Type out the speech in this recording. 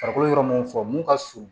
Farikolo yɔrɔ mun fɔ mun ka surun